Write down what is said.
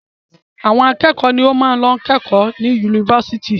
Àwọn akẹ́kọ̀ọ́ ni ó máa ń lọ kẹ́kọ̀ọ́ ní yunifásitì.